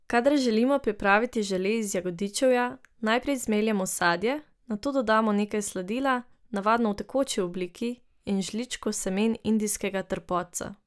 Kadar želimo pripraviti žele iz jagodičevja, najprej zmeljemo sadje, nato dodamo nekaj sladila, navadno v tekoči obliki, in žličko semen indijskega trpotca.